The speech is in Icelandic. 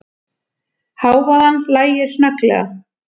Hávaðann lægir snögglega.